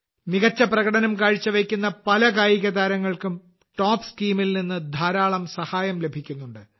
മികച്ച പ്രകടനം കാഴ്ച്ചവെക്കുന്ന പല കായികതാരങ്ങൾക്കും ടോപ്സ് സ്കീമിൽ നിന്ന് ധാരാളം സഹായം ലഭിക്കുന്നുണ്ട്